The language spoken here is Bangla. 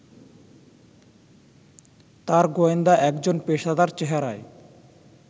তাঁর গোয়েন্দা একজন পেশাদার চেহারায়